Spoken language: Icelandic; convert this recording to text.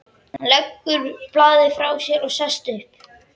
Hann leggur blaðið frá sér og sest upp.